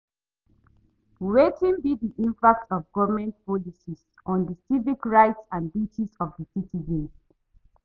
Wetin be di impact of government policies on di civic rights and duties of di citizens?